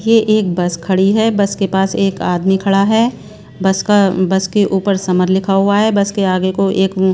ये एक बस खड़ी है बस के पास एक आदमी खड़ा है बस का बस के ऊपर समर लिखा हुआ है बस के आगे को एक--